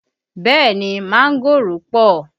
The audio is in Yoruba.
Bẹẹ ni, mángòrò pọ